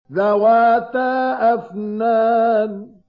ذَوَاتَا أَفْنَانٍ